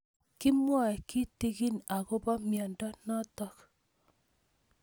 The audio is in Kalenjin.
Kimwae kitig'in akopo miondo notok